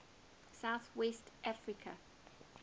south west africa